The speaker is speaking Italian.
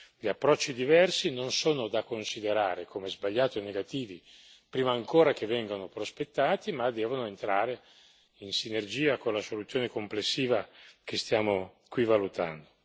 Gli approcci diversi non sono da considerare come sbagliati o negativi, prima ancora che vengano prospettati, ma devono entrare in sinergia con la soluzione complessiva che stiamo qui valutando.